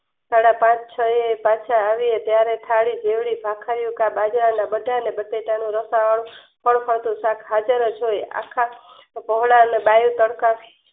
સદા પાંચ છએ પાંચ આવીયે ત્યારે થાળી જોયી બજ્રરના બજા અને બટેટાનું રસાવાળું ખળખળતું શાક હજાર છે અને બાયું તડકડ